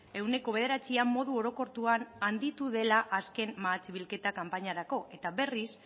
ehuneko bederatzian modu orokortuan handitu dela azken mahats bilketa kanpainarako eta berriz